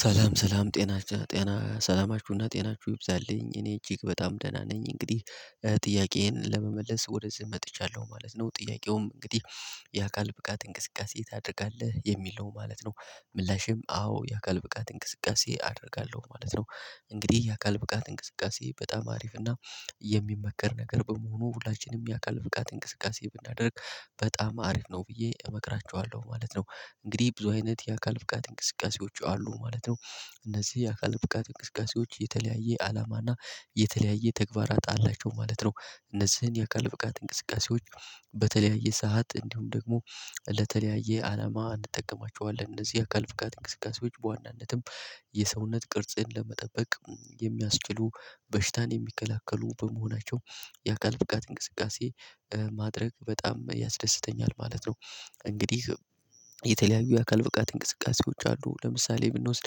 ሰላም ሰላም ጤናችን ጤና ሰላማችሁ እና ጤናችሁ ይብዛልኝ እኔ እጅግ በጣም ደህና ነኝ እንግዲህ ጥያቄዬን ለመመለስ ወደዚህ መጥቻለሁ ማለት ነው። ጥያቄውም እንግዲህ የአካል ብቃት እንቅስቃሴ ታደርጋለህ የሚል ነው ማለት ነው። ምላሼም አዎ የአካል ብቃት እንቅስቃሴ አደርጋለሁ ማለት ነው። እንግዲህ የአካል ብቃት እንቅስቃሴ በጣም አሪፍ እና የሚመከር ነገር በመሆኑ ሁላችንም የአካል ብቃት እንቅስቃሴ ብናደርግ በጣም አሪፍ ነው ብዬ እመክራችኋለሁ ማለት ነው። እንግዲህ ብዙ አይነት የአካል ብቃት እንቅስቃሴዎች አሉ ማለት ነው። እነዚህ የአካል ብቃት እንቅስቃሴዎች የተለያየ አላማ እና የተለያየ ተግባራት አላቸው ማለት ነው። እነዚህን የአካል ብቃት እንቅስቃሴዎች በተለያየ ሰዓት እንዲሁም ደግሞ ለተለያየ አላማ እንጠቀማቸዋለን። እነዚህ የአካል ብቃት እንቅስቃሴዎች በዋናነትም የሰውነት ቅርጽን ለመጠበቅ የሚያስችሉ በሽታን የሚከላከሉ በመሆናቸው የአካል ብቃት እንቅስቃሴ ማድረግ በጣም ያስደስተኛል ማለት ነው። እንግዲህ የተለያዩ የአካል ብቃት እንቅስቃሴዎች አሉ ለምሳሌ ብንወስድ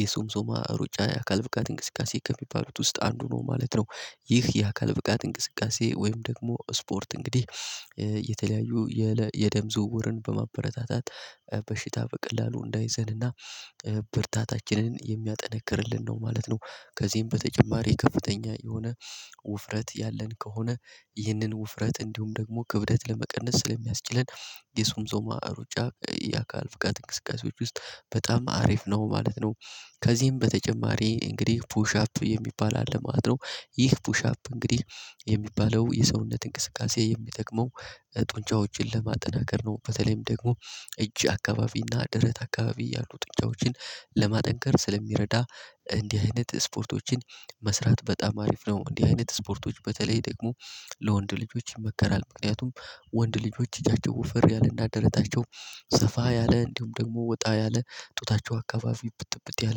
የሶምሶማ ሩጫ የአካል ብቃት እንቅስቃሴ ከሚባሉት ውስጥ አንዱ ነው ማለት ነው። ይህ የአካል ብቃት እንቅስቃሴ ወይም ደግሞ ስፖርት እንግዲህ የተለያዩ የደም ዝውውርን በማበረታታት በሽታ በቀላሉ እንዳይዘንና ብርታታችንን የሚያጠነክርልን ነው ማለት ነው። ከዚህም በተጨማሪ ከፍተኛ የሆነ ውፍረት ያለን ከሆነ ይህንን ውፍረት እንዲሁም ደግሞ ክብደት ለመቀነስ ስለሚያስችለን የሶምሶማ ሩጫ የአካል ብቃት እንቅስቃሴዎች ውስጥ በጣም አሪፍ ነው ማለት ነው። ከዚህም በተጨማሪ እንግዲህ ፑሽ አፕ የሚባል አለ ማለት ነው። ይህ ፑሽ አፕ እንግዲህ የሚባለው የሰውነት እንቅስቃሴ የሚጠቅመው ጡንቻዎችን ለማጠናከር ነው። በተለይም ደግሞ እጅ አካባቢ እና ደረት አካባቢ ያሉ ጡንቻዎችን ለማጠንከር ስለሚረዳ እንዲህ አይነት ስፖርቶችን መስራት በጣም አሪፍ ነው። እንዲህ አይነት ስፖርቶች በተለይ ደግሞ ለወንድ ልጆች ይመከራል ምክንያቱም ወንድ ልጆች እጃቸው ወፍር ያለ እና ደረታቸው ሰፋ ያለ እንዲሁም ደግሞ ወጣ ያለ ጡታቸው አካባቢ እብጥእብጥ ያለ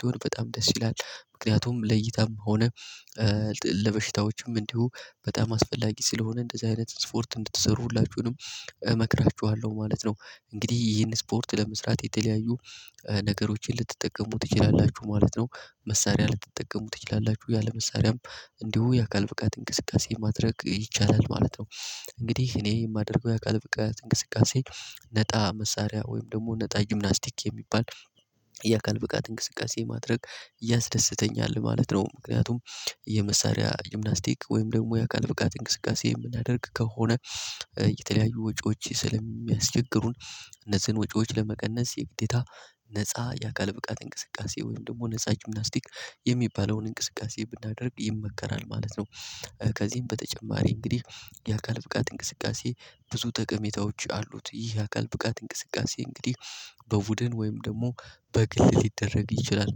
ሲሆን በጣም ደስ ይላል ምክንያቱም ለእይታም ሆነ ለበሽታዎችም እንዲሁ በጣም አስፈላጊ ስለሆነ እንደዚህ አይነት ስፖርት እንድትሰሩ ሁላችሁንም እመክራችኋለሁ ማለት ነው። እንግዲህ ይሄን ስፖርት ለመስራት የተለያዩ ነገሮችን ልትጠቀሙ ትችላላችሁ ማለት ነው። መሳሪያ ልትጠቀሙ ትችላላችሁ ያለ መሳሪያም እንዲሁ የአካል ብቃት እንቅስቃሴ ማድረግ ይቻላል ማለት ነው። እንግዲህ እኔ የማደርገው የአካል ብቃት እንቅስቃሴ ነጣ መሳሪያ ወይም ደግሞ ነጣ ጂምናስቲክ የሚባል የአካል ብቃት እንቅስቃሴ ማድረግ ያስደስተኛል ማለት ነው። ምክንያቱም የመሳሪያ ጅምናስቲክ ወይም ደግሞ የአካል ብቃት እንቅስቃሴ እምናደርግ ከሆነ የተለያዩ ወጪዎች ስለሚያስቸግሩን እነዚህን ወጪዎች ለመቀነስ የግዴታ ነፃ የአካል ብቃት እንቅስቃሴ ወይም ደግሞ ነፃ ጂምናስቲክ የሚባለውን እንቅስቃሴ ብናደርግ ይመከራል ማለት ነው። ከዚህም በተጨማሪ እንግዲህ የአካል ብቃት እንቅስቃሴ ብዙ ጠቀሜታዎች አሉት ይህ የአካል ብቃት እንቅስቃሴ እንግዲህ በቡድን ወይም ደግሞ በግል ሊደረግ ይችላል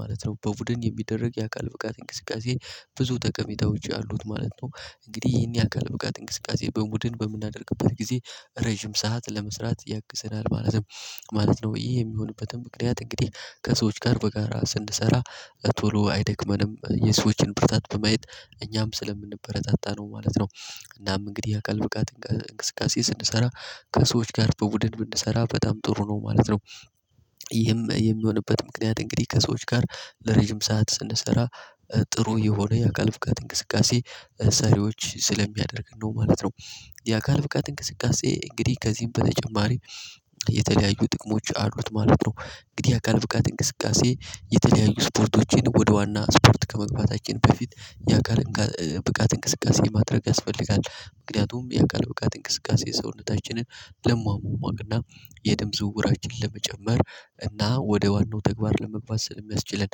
ማለት ነው። በቡድን የሚደረግ የአካል ብቃት እንቅስቃሴ ብዙ ጠቀሜታዎች አሉት ማለት ነው። እንግዲህ ይህን የአካል ብቃት እንቅስቃሴ በቡድን በምናደርግበት ጊዜ ረዥም ሰዓት ለመስራት ያግዘናል ማለትም ማለት ነው። ይህ የሚሆንበትም ምክንያት እንግዲህ ከሰዎች ጋር በጋራ ስንሰራ ቶሎ አይደክመንም የሰዎችን ብርታት በማየት እኛም ስለምንበረታታ ነው ማለት ነው። እናም እንግዲህ የአካል ብቃት እንቅስቃሴ ስንሰራ ከሰዎች ጋር በቡድን ብንሰራ በጣም ጥሩ ነው ማለት ነው። ይሄም የሚሆንበት ምክንያት እንግዲህ ከሰዎች ጋር ለረዥም ሰዓት ስንሰራ ጥሩ የሆነ የአካል ብቃት እንቅስቃሴ ሰሪዎች ስለሚያደርገን ነው ማለት ነው። የአካል ብቃት እንቅስቃሴ እንግዲህ ከዚህም በተጨማሪ የተለያዩ ጥቅሞች አሉት ማለት ነው። እንግዲህ አካል ብቃት እንቅስቃሴ የተለያዩ ስፖርቶችን ወደ ዋና ስፖርት ከመግባታችን በፊት የአካል ብቃት እንቅስቃሴ ማድረግ ያስፈልጋል። ምክንያቱም የአካል ብቃት እንቅስቃሴ ሰውነታችንን ለሟማማቅ እና የደም ዝውውራችን ለመጨመር እና ወደ ዋናው ተግባር ለመግባት ስለሚያስችለን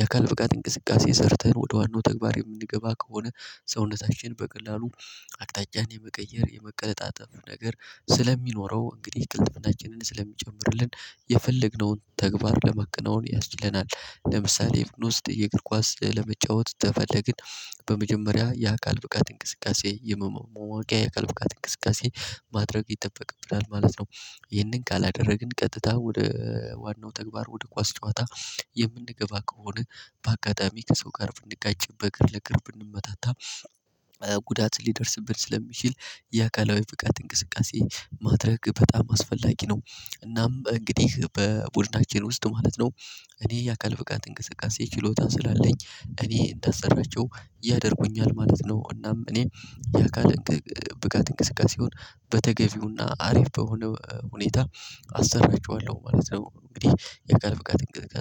የአካል ብቃት እንቅስቃሴ ሰርተን ወደ ዋናው ተግባር የምንገባ ከሆነ ሰውነታችን በቀላሉ አቅጣጫን የመቀየር የመቀለጣጠፍ ነገር ስለሚኖረው እንግዲህ ቅልጥፍናችንን ስለሚጨምርልን የፈለግነውን ተግባር ለማከናወን ያስችለናል። ለምሳሌ የብኖስት የእግር ኳስ ለመጫወት ተፈለግን በመጀመሪያ የአካል ብቃት እንቅስቃሴ የመማማቂያ የአካል ብቃት እንቅስቃሴ ማድረግ ይጠበቅብናል ማለት ነው። ይህንን ካላደረግን ቀጥታ ወደ ዋናው ተግባር ወደ ኳስ ጨዋታ የምንገባ ከሆነ በአጋጣሚ ከሰው ጋር ብንጋጭ በእግር ለግርብ ብንመታታ ጉዳት ሊደርስብን ስለሚችል የአካላዊ ብቃት እንቅስቃሴ ማድረግ በጣም አስፈላጊ ነው። እናም እንግዲህ በቡድናችን ውስጥ ማለት ነው። እኔ የአካል ብቃት እንቅስቃሴ ችሎታ ስላለኝ እኔ እንዳሰራቸው ያደርጉኛል ማለት ነው። እናም እኔ የአካል ብቃት እንቅስቃሴውን በተገቢውና አሪፍ በሆነ ሁኔታ አሰራቸዋለሁ ማለት ነው። እንግዲህ የአካል ብቃት እንቅስቃሴ